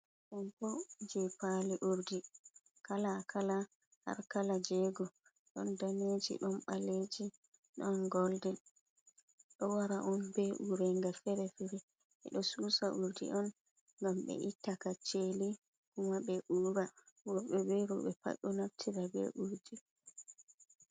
Ɗo bo je paali urdi kala-kala har kala jego, ɗon daneji, ɗon baleji, ɗon goldin, ɗo wara on be uureega fere-fere, ɓeɗo suusa uurdi on ngam ɓe itta kacceli kuma be uura, worɓe be rowɓe pat ɗo naftira be uurdi.